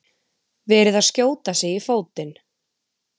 Verið að skjóta sig í fótinn